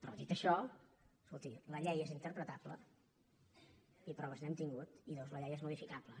però dit això escolti la llei és interpretable i proves n’hem tingut i dos la llei és modificable